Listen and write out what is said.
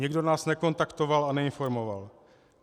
Nikdo nás nekontaktoval a neinformoval.